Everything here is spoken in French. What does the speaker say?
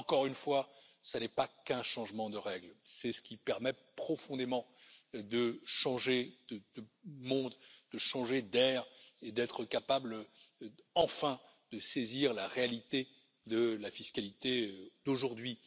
Encore une fois, ce n'est pas qu'un changement de règle, c'est ce qui permet profondément de changer de monde, de changer d'air et d'être capable enfin de saisir la réalité de la fiscalité d'aujourd'hui.